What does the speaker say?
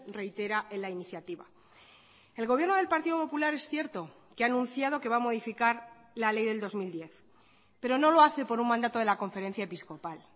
reitera en la iniciativa el gobierno del partido popular es cierto que ha anunciado que va a modificar la ley del dos mil diez pero no lo hace por un mandato de la conferencia episcopal